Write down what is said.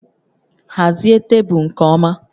Hazie tebụl nke ọma